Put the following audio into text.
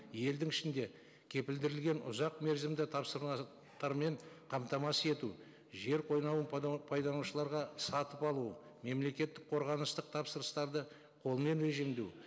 елдің ішінде кепілдірілген ұзақ мерзімді тапсырма қамтамасыз ету жер қойнауын пайдаланушыларға сатып алу мемлекеттік қорғанысты тапсырыстарды қолмен режимдеу